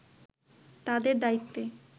তাদের দায়িত্বে